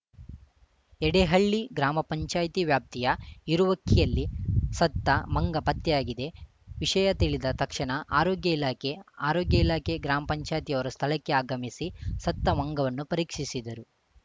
ಯಡೇಹಳ್ಳಿ ಗ್ರಾಮ ಪಂಚಾಯಿತಿ ವ್ಯಾಪ್ತಿಯ ಇರುವಕ್ಕಿಯಲ್ಲಿ ಸತ್ತ ಮಂಗ ಪತ್ತೆಯಾಗಿದೆ ವಿಷಯ ತಿಳಿದ ತಕ್ಷಣ ಆರೋಗ್ಯ ಇಲಾಖೆ ಆರೋಗ್ಯ ಇಲಾಖೆ ಗ್ರಾಮ ಪಂಚಾಯತ್ ನವರು ಸ್ಥಳಕ್ಕೆ ಆಗಮಿಸಿ ಸತ್ತ ಮಂಗವನ್ನು ಪರೀಕ್ಷಿಸಿದರು